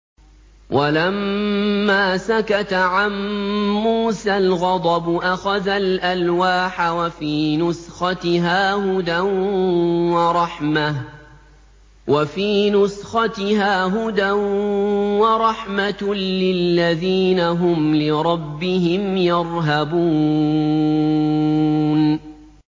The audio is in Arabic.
وَلَمَّا سَكَتَ عَن مُّوسَى الْغَضَبُ أَخَذَ الْأَلْوَاحَ ۖ وَفِي نُسْخَتِهَا هُدًى وَرَحْمَةٌ لِّلَّذِينَ هُمْ لِرَبِّهِمْ يَرْهَبُونَ